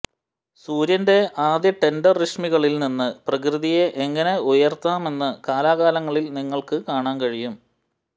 സൂര്യന്റെ ആദ്യ ടെൻഡർ രശ്മികളിൽ നിന്ന് പ്രകൃതിയെ എങ്ങനെ ഉണർത്താമെന്നത് കാലാകാലങ്ങളിൽ നിങ്ങൾക്ക് കാണാൻ കഴിയും